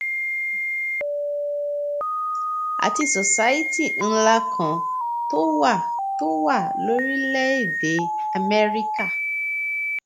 àti society ńlá kan tó wà tó wà lórílẹèdè amẹríkà